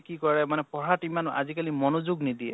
কি কৰে মানে পঢ়াত ইমান আজি কালি মনোযোগ নিদিয়ে